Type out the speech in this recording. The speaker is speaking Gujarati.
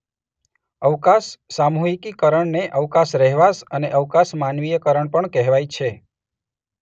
અવકાશ સામૂહિકીકરણને અવકાશ રહેવાસ અને અવકાશ માનવીયકરણ પણ કહેવાય છે.